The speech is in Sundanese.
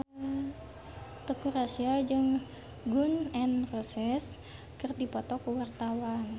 Teuku Rassya jeung Gun N Roses keur dipoto ku wartawan